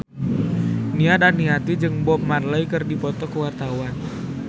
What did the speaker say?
Nia Daniati jeung Bob Marley keur dipoto ku wartawan